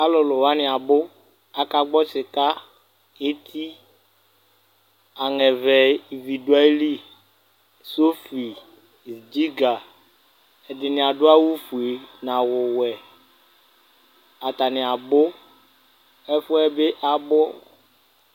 Alulu wani abu, aka gbɔ sika eti aŋɛ vɛ ivi du ayi li sofi, dziga Ɛdini adu awu fue, n'awu wɛ Atani abu ɛfuɛ bi abu